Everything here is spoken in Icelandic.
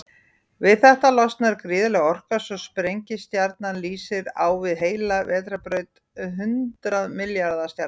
Við þetta losnar gríðarleg orka, svo sprengistjarnan lýsir á við heila vetrarbraut hundrað milljarða stjarna.